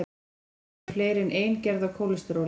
til eru fleiri en ein gerð af kólesteróli